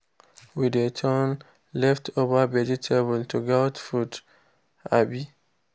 we dey turn leftover vegetable to goat food. um